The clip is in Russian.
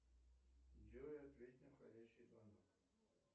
джой ответь на входящий звонок